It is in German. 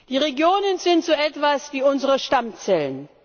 Die Regionen sind so etwas wie unsere Stammzellen.